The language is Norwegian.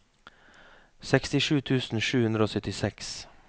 sekstisju tusen sju hundre og syttiseks